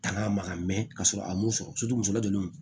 Tangan a maga mɛn ka sɔrɔ a m'o sɔrɔ muso lajiginnen don